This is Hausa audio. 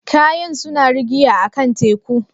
Kayan suna rigiya a'kan teku?